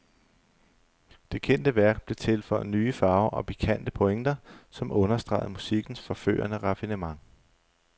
Det kendte værk blev tilføjet nye farver og pikante pointer, som understregede musikkens forførende raffinement.